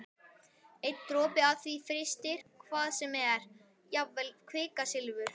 Einn dropi af því frystir hvað sem er- jafnvel kvikasilfur.